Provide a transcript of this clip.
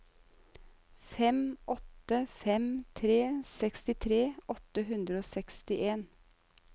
fem åtte fem tre sekstitre åtte hundre og sekstien